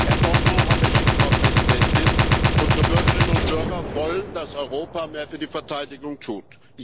Herr Danjean hatte Recht, Frau Präsidentin. Unsere Bürgerinnen und Bürger wollen, dass Europa mehr für die Verteidigung tut.